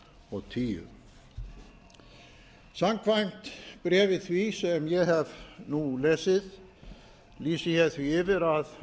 og tíu samkvæmt bréfi því sem ég hef nú lesið lýsi ég því yfir að